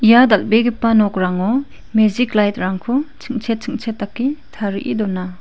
ia dal·begipa nokrango mejik light-rangko ching·chet ching·chet dake tarie dona.